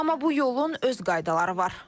Amma bu yolun öz qaydaları var.